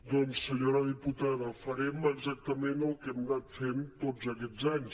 doncs senyora diputada farem exactament el que hem anat fent tots aquests anys